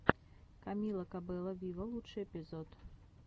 камила кабелло виво лучший эпизод